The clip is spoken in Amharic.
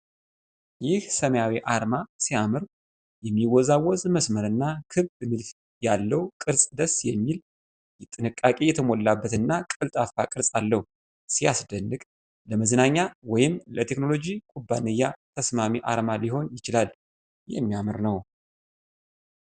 ይህ ሰማያዊ አርማ ሲያምር! የሚወዛወዝ መስመር እና ክብ ንድፍ ያለው ቅርጽ ደስ የሚል። ጥንቃቄ የተሞላበት እና ቀልጣፋ ቅርጽ አለው። ሲያስደንቅ! ለመዝናኛ ወይም ለቴክኖሎጂ ኩባንያ ተስማሚ አርማ ሊሆን ይችላል። የሚያምር ነው።